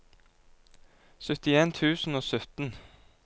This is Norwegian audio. syttien tusen og sytten